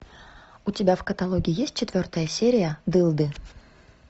у тебя в каталоге есть четвертая серия дылды